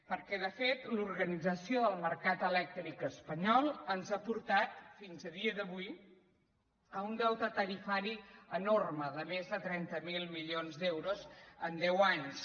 perquè de fet l’organització del mercat elèc·tric espanyol ens ha portat fins a dia d’avui a un deu·te tarifari enorme de més de trenta miler milions d’euros en deu anys